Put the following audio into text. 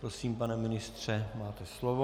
Prosím, pane ministře, máte slovo.